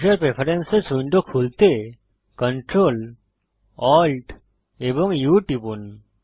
user preferences window খুলতে Ctrl Alt এবং U টিপুন